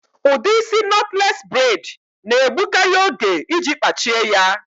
Udi isị nọtles bred na-egbukari oge iji kpachie ya